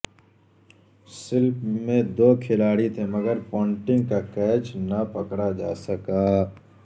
slip میں دو کھلاڑی تھے مگر پونٹنگ کا کیچ نہ پکڑا جا سکا